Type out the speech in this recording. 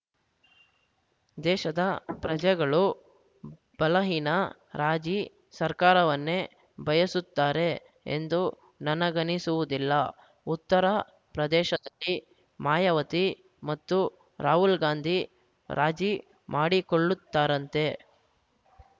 ದೇಶದ ಪ್ರಜೆಗಳು ಬಲಹೀನ ರಾಜಿ ಸರ್ಕಾರವನ್ನೇ ಬಯಸುತ್ತಾರೆ ಎಂದು ನನಗನಿಸುವುದಿಲ್ಲ ಉತ್ತರ ಪ್ರದೇಶದಲ್ಲಿ ಮಾಯಾವತಿ ಮತ್ತು ರಾಹುಲ್‌ ಗಾಂಧಿ ರಾಜಿ ಮಾಡಿಕೊಳ್ಳುತ್ತಾರಂತೆ